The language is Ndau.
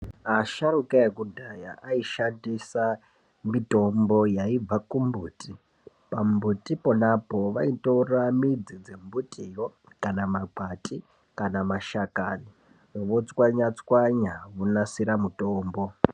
Asharuka ekudhaya aishandisa mitombo yaibva kumbuti. Pambuti ponapo, vaitora midzi dzembutiyo kana makwati kana mashakani, votswanya tswanya vonasira mutombo.